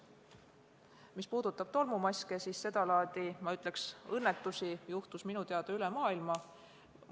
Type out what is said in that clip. Mis puudutab tolmumaske, siis sedalaadi, ma ütleks, õnnetusi juhtus minu teada üle maailma.